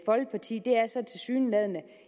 så tilsyneladende